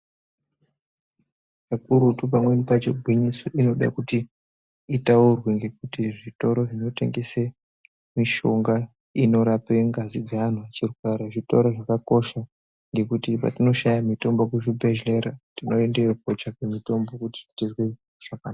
Kakurutu pamweni pacho gwinyiso inode kuti itaurwe ngekuti zvitoro zvinotengese mishonga inorape ngazi dzeanhu ,zvitoro zvakakosha ngekuti patinoshaya mishonga kuzvibhehleya tinoendeyo kotsvake mitombo kuti tizwe zvakanaka.